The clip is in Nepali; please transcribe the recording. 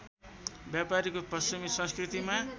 व्यापारीको पश्चिमी संस्कृतिमा